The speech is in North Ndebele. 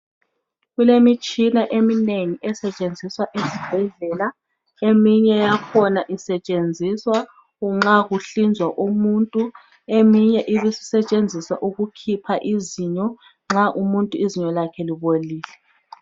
kulemitshina eminengi esetshenziswa esibhedlela eminye yakhona isetshenziswa nxa kuhlinzwa umuntu eminye ibe isetshenziswa ukukhipha izinyo nxa umuntu izinyo lakhe libolile